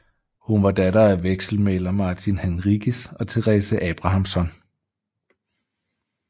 Hun var datter af vekselmægler Martin Henriques og Therese Abrahamson